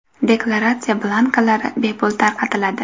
Deklaratsiya blankalari bepul tarqatiladi.